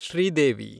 Sridevi